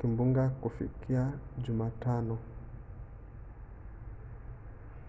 kimbunga kufikia jumatano